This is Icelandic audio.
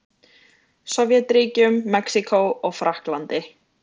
Sovétríkjunum, Mexíkó og Frakklandi.